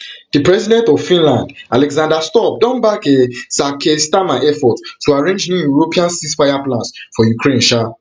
di president of finland alexander stubb don back um sir keir starmer effort to arrange new european ceasefire plans for ukraine um